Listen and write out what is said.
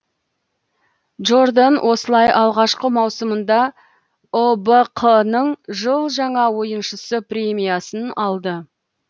джордан осылай алғашқы маусымында ұбқ ның жыл жаңа ойыншысы премиясын алды